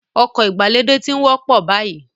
Ọkọ̀ ìgbàlódé ti ń wọ́pọ̀ báyìí